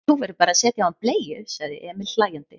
Þú verður bara að setja á hann bleiu, sagði Emil hlæjandi.